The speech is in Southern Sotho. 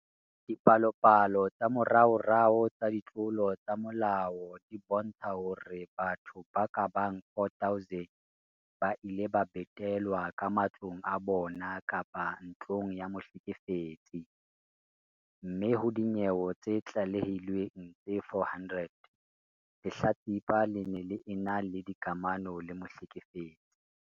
Dipalopalo tsa moraorao tsa ditlolo tsa molao di bontsha hore batho ba ka bang 4 000 ba ile ba betelwa ka matlong a bona kapa ntlong ya mohlekefetsi, mme ho dinyewe tse tlalehilweng tse 400, lehlatsipa le ne le ena le dikamano le mohlekefetsi.